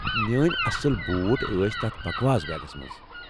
میٲنۍ اصل بوٗٹھ ٲسۍ تتھ بکواس بیگس منٛز۔